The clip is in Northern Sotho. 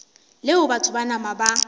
leo batho ba nama ba